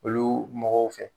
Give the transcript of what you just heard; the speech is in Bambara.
Olu mɔgɔw fɛ